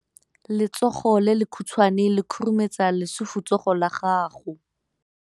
Letsogo le lekhutshwane le khurumetsa lesufutsogo la gago.